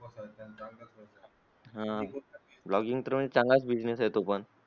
हा blogging तर म्हणजे चांगला business आहे. तो पण